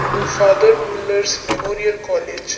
ಇದು father Muller's memorial college .